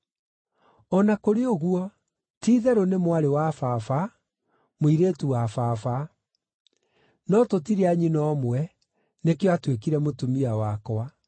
O na kũrĩ ũguo, ti-itherũ nĩ mwarĩ wa-baba, mũirĩtu wa baba; no tũtirĩ a nyina ũmwe, nĩkĩo aatuĩkire mũtumia wakwa.